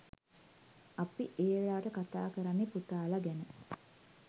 අපි ඒ වෙලාවට කතා කරන්නේ පුතාලා ගැන.